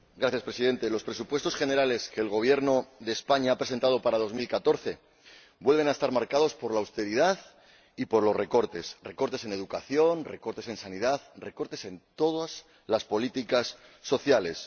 Señor Presidente, los presupuestos generales que el Gobierno de España ha presentado para 2014 vuelven a estar marcados por la austeridad y por los recortes recortes en educación, recortes en sanidad, recortes en todas las políticas sociales.